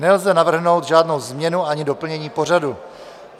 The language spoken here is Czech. Nelze navrhnout žádnou změnu ani doplnění pořadu.